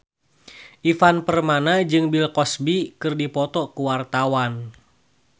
Ivan Permana jeung Bill Cosby keur dipoto ku wartawan